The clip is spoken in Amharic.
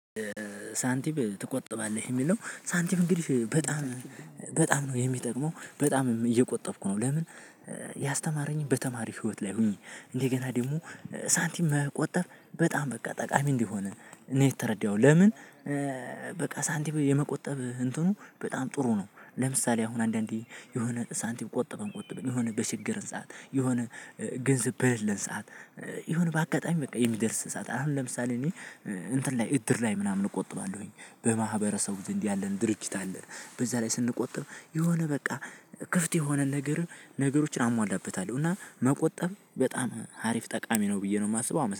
ሳንቲም ትቆጥባለህ የሚለው ሳንቲም እንግዲህ በጣም በጣም ነው የሚጠቅመው በጣምም እየቆጠብኩ ነው። ለምን? ያስተማረኝ በተማሪ ህይወት ላይ ሆኔ እንደገና ደግሞ ሳንቲም መቆጠብ በጣም በቃ ጠቃሚ እንደሆነ ነው የተረዳሁት። ለምን? በቃ ሳንቲም የመቆጠብ እንትኑ በጣም ጥሩ ነው። ለምሳሌ አሁን አንዳንዴ የሆነ ሳንቲም ቆጠበን ቆጠበን የሆነ በቸገረን ሰዓት የሆነ ገንዘብ በሌለን ሰዓት። የሆነ በአጋጣሚ በቃ የሚደርስ ሰዓት አሁን ለምሳሌ እኔ እንትን ላይ እድር ላይ ምናምን እቆጥባለሁኝ በማህበረሰቡ ዘንድ ያለን ድርጅት አለ። በዛ ላይ ስንቆጥብ የሆነ በቃ ክፍት የሆነ ነገር ነገሮችን አሟላበታለሁ። እና መቆጠብ በጣም አሪፍ ጠቃሚ ነው ብዬ ነው የማስበው